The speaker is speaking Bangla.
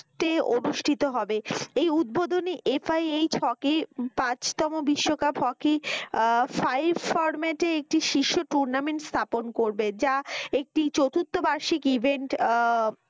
তে অনুষ্টিত হবে এই উধবধনী এফ আই এইচ হকি পাঁচতম হকি five format এ একটি tournament স্থাপন করবে যা একটু চতুর্থ বার্ষিকী event আহ